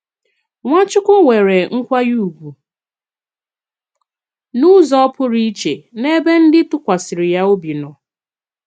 Nwàchùkwù nwèrè nkwànyè ùgwù n’ùzò pụrụ ìchè n’èbè ndị tụkwàsìri yà òbì nò.